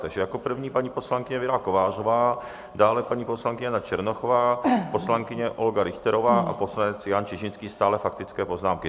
Takže jako první paní poslankyně Věra Kovářová, dále paní poslankyně Jana Černochová, poslankyně Olga Richterová a poslanec Jan Čižinský, stále faktické poznámky.